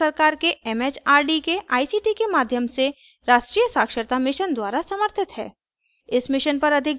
यह भारत सरकार के it it आर डी के आई सी टी के माध्यम से राष्ट्रीय साक्षरता mission द्वारा समर्थित है